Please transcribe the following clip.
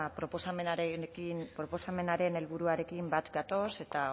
proposamenaren helburuarekin bat gatoz eta